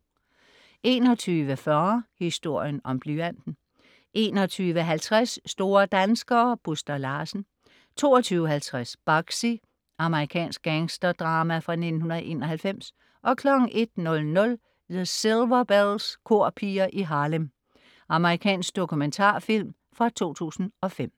21.40 Historien om blyanten 21.50 Store danskere - Buster Larsen 22.50 Bugsy. Amerikansk gangsterdrama fra 1991 01.00 The Silver Belles. Korpiger i Harlem. Amerikansk dokumentarfilm fra 2005